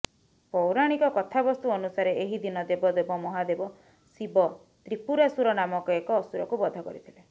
ପୌରାଣିକ କଥାବସ୍ତୁ ଅନୁସାରେ ଏହି ଦିନ ଦେବଦେବ ମହାଦେବ ଶିବ ତ୍ରିପୁରାସୁର ନାମକ ଏକ ଅସୁରକୁ ବଧ କରିଥିଲେ